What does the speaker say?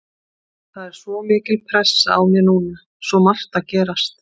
Það er svo mikil pressa á mér núna, svo margt að gerast.